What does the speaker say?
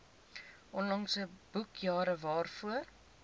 onlangse boekjare waarvoor